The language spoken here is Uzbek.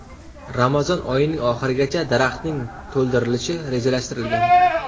Ramazon oyining oxirigacha daraxtning to‘ldirilishi rejalashtirilgan.